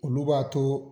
Olu b'a to